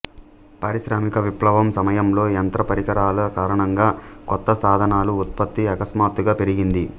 పారిశ్రామిక విప్లవం సమయంలో యంత్ర పరికరాల కారణంగా కొత్త సాధనాల ఉత్పత్తి అకస్మాత్తుగా పెరిగింది